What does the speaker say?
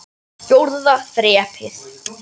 Fjórða þrepið.